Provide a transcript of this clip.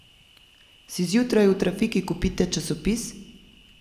Si zjutraj v trafiki kupite časopis?